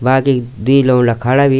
बाकी दुई लौंडा खड़ा भी।